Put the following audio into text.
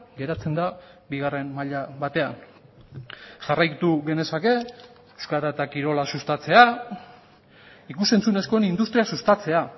geratzen da bigarren maila batean jarraitu genezake euskara eta kirola sustatzea ikus entzunezkoen industria sustatzea